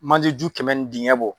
Maliju kɛmɛ in dingɛ bɔ.